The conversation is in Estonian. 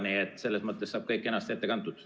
Nii et selles mõttes saab kõik kenasti ette kantud.